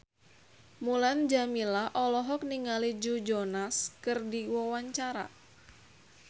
Mulan Jameela olohok ningali Joe Jonas keur diwawancara